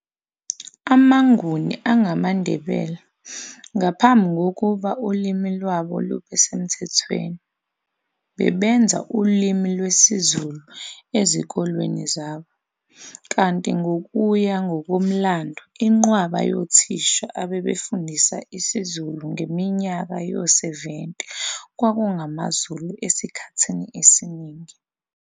AmaNguni angamaNdebele ngaphambi kokuba ulimi lwabo lube semthethweni, bebenza ulimi lesiZulu ezikolweni zabo, kanti ngokuya ngokomlando inqwaba yothisha ebebefundisa isiZulu ngeminyaka yo-70 kwakungamaZulu esikhathini esiningi.